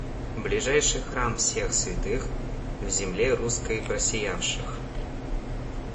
ближайший храм всех святых в земле русской просиявших